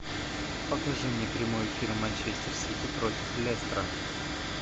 покажи мне прямой эфир манчестер сити против лестера